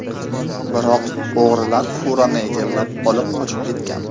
Biroq, o‘g‘rilar furani egallab, olib qochib ketgan.